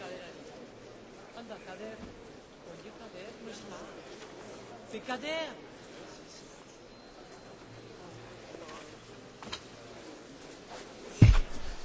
Monsieur le Président, Monsieur le Premier ministre, Monsieur le Président du Parlement, chers collègues, en cette période de crise, la politique commerciale occupe une place croissante dans le débat public,